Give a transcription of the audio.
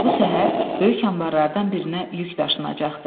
Bu səhər böyük anbarlardan birinə yük daşınacaqdı.